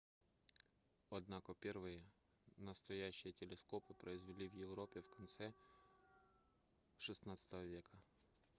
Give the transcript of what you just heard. однако первые настоящие телескопы произвели в европе в конце xvi века